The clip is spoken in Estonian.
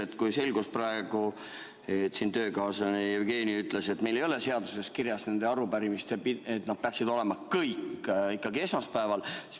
Praegu selgus, nagu hea töökaaslane Jevgeni ütles, et meil ei ole seaduses kirjas, et arupärimised peaksid olema kõik esmaspäeval.